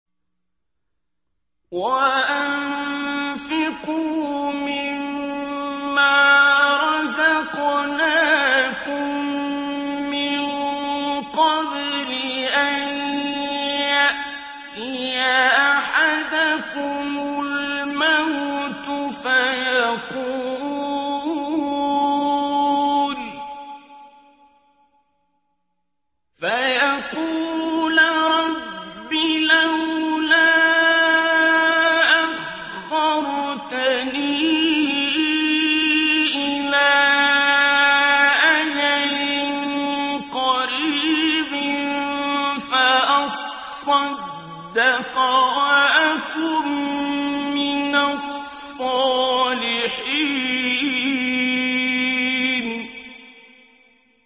وَأَنفِقُوا مِن مَّا رَزَقْنَاكُم مِّن قَبْلِ أَن يَأْتِيَ أَحَدَكُمُ الْمَوْتُ فَيَقُولَ رَبِّ لَوْلَا أَخَّرْتَنِي إِلَىٰ أَجَلٍ قَرِيبٍ فَأَصَّدَّقَ وَأَكُن مِّنَ الصَّالِحِينَ